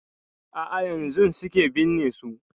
A'a yanzun suke binne su.